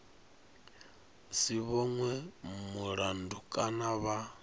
si vhonwe mulandu kana vha